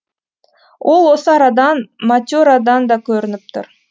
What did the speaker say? ол осы арадан мате радан да көрініп тұр